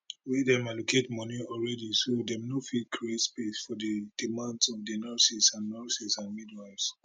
wia dem allocate moni already so dem no fit create space for di demands of di nurses and nurses and midwives